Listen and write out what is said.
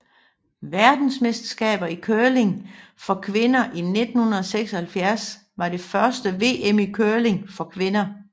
Verdensmesterskabet i curling for kvinder 1979 var det første VM i curling for kvinder